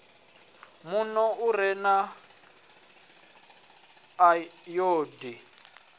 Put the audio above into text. muno u re na ayodini